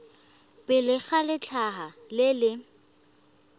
pele ga letlha le le